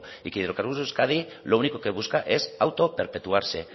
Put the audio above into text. y que hidrocarburos de euskadi lo único que busca es autoperpetuarse